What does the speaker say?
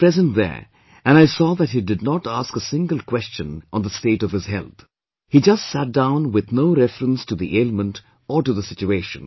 I was present there and I saw that he did not ask a single question on the state of his health; he just sat down with no reference to the ailment or to the situation